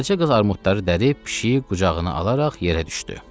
Qaraca qız armudları dərib pişiyi qucağına alaraq yerə düşdü.